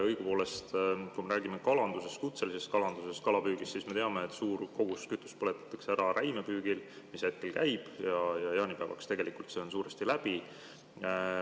Õigupoolest, kui me räägime kutselisest kalandusest, kalapüügist, siis me teame, et suur kogus kütust põletatakse ära räimepüügil, mis hetkel käib, ja jaanipäevaks on see suuresti läbi.